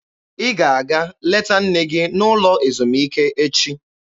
Ị ga-aga leta nne gị n'ụlọ ezumike echi!